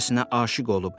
aşıq olub.